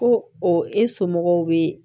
Ko o e somɔgɔw bɛ